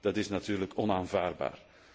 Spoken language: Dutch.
Dat is natuurlijk onaanvaardbaar.